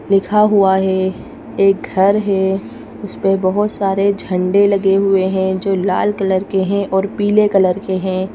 लिखा हुआ है एक घर है उसपे बहुत सारे झंडे लगे हुए हैं जो लाल कलर के हैं और पीले कलर के हैं।